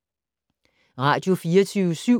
Radio24syv